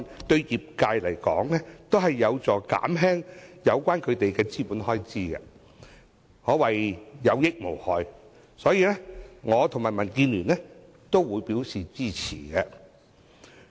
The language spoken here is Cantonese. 對業界而言，《條例草案》提出的修訂，將有助減輕他們的資本開支，可謂有益無害，所以，我和民主建港協進聯盟均表示支持。